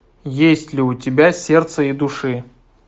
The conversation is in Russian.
есть ли у тебя сердце и души